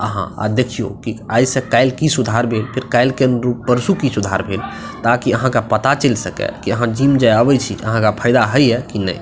आहां देखियो की आय से कायल की सुधार भेल ते कायल के अनुरूम परसू की सुधार भेल ताकि आहां के पता चल सकय की आहां जिम जे आबे छी ते आहां के फायदा हय ये की नय --